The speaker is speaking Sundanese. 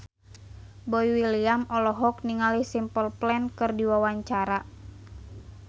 Boy William olohok ningali Simple Plan keur diwawancara